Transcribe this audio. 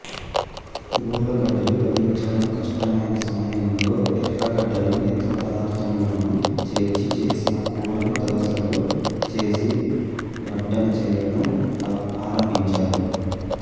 ఉర్లగడ్డలు లభించండం కష్టమైన సమయంలో ఎర్రగడ్డలను ఇతర పదార్ధములను చేర్చి చేసిన కూరను దోశలో చేసి వడ్డన చేయడం ఆరంభించారు